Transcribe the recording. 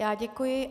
Já děkuji.